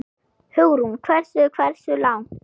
Hugrún: Hversu, hversu langt?